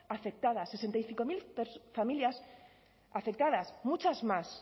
afectadas sesenta y cinco mil familias afectadas muchas más